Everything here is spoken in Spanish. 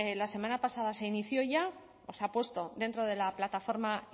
la semana pasada se inició ya se ha puesto dentro de la plataforma